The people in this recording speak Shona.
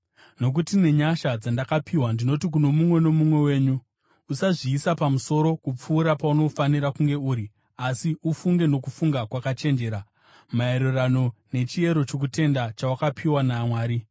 Nokuti nenyasha dzandakapiwa ndinoti kuno mumwe nomumwe wenyu: Usazviisa pamusoro kupfuura paunofanira kunge uri, asi ufunge nokufunga kwakachenjera, maererano nechiyero chokutenda chawakapiwa naMwari.